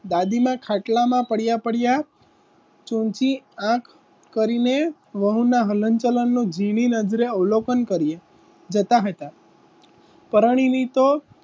દાદીમાં ખાટલામાં પડ્યા પડ્યા વહુના હલન ચલનનું જીણી નજરે અવલોકન કરીએ જતા હતા પરાણીની તો